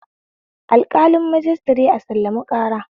Alƙalin majistire a sallami ƙara